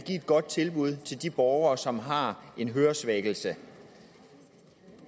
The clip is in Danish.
godt tilbud til de borgere som har en høresvækkelse